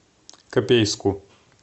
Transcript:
копейску